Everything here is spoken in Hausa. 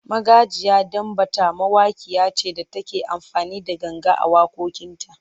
Magajiya Danbatta mawakiya ce da take amfani da ganga a waƙoƙinta.